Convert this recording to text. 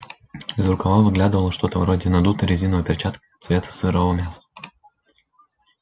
из рукава выглядывало что-то вроде надутой резиновой перчатки цвета сырого мяса